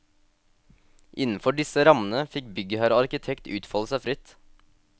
Innenfor disse rammene, fikk byggherre og arkitekt utfolde seg fritt.